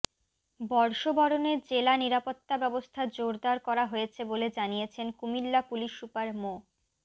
বর্ষবরণে জেলার নিরাপত্তা ব্যবস্থা জোরদার করা হয়েছে বলে জানিয়েছেন কুমিল্লা পুলিশ সুপার মো